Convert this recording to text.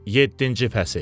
Yeddinci fəsil.